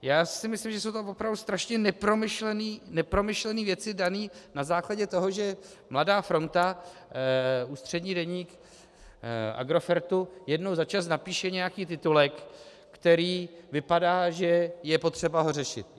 Já si myslím, že jsou tam opravdu strašně nepromyšlené věci, dané na základě toho, že Mladá fronta, ústřední deník Agrofertu, jednou za čas napíše nějaký titulek, který vypadá, že je potřeba ho řešit.